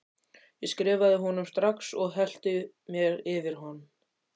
Ég skrifaði honum strax og hellti mér yfir hann.